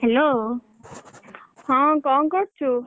Hello ହଁ କଣ କରୁଛୁ?